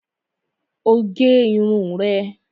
O gé irun rẹ